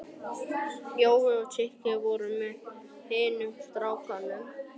Jói og Siggi voru með hinum strákunum.